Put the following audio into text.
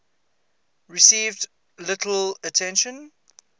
received little attention